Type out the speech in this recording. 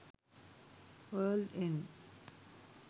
world end